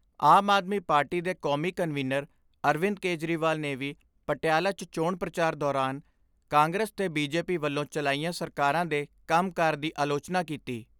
ਆਮ Aadmi Party ਦੇ ਕੌਮੀ convener Arvind Kejriwal ਨੇ ਵੀ ਪਟਿਆਲਾ 'ਚ ਚੋਣ ਪ੍ਰਚਾਰ ਦੌਰਾਨ ਕਾਂਗਰਸ ਤੇ ਬੀਜੇਪੀ ਵੱਲੋਂ ਚਲਾਈਆਂ ਸਰਕਾਰਾਂ ਦੇ ਕੰਮ ਕਾਰ ਦੀ ਆਲੋਚਨਾ ਕੀਤੀ।